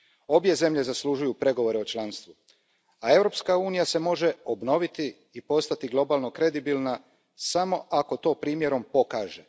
Obje zemlje zaslužuju pregovore o članstvu, a Europska unija se može obnoviti i postati globalno kredibilna samo ako to primjerom pokaže.